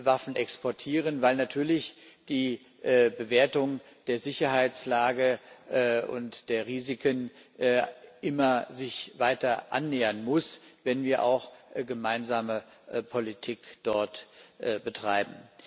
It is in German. Waffen exportieren, weil natürlich die Bewertung der Sicherheitslage und der Risiken sich immer weiter annähern muss, wenn wir auch gemeinsame Politik dort betreiben.